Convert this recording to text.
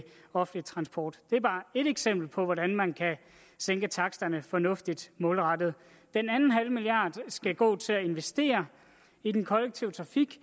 offentlig transport det er bare et eksempel på hvordan man kan sænke taksterne fornuftigt målrettet den anden halve milliard skal gå til at investere i den kollektive trafik